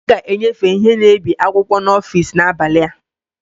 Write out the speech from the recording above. A ga-enyefe ihe na-ebi akwụkwọ n'ọfịs n'abalị a